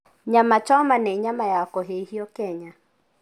Nyama choma nĩ nyama ya kũhĩhio Kenya.